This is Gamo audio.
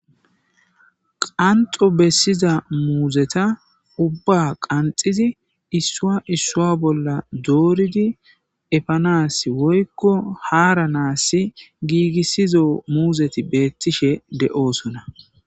qanxo bessiza muuzeta ubba qanxizi issua issua bolla dooridi efanas woykko haara naassi giigissizo muuzeti beettishe de7oosona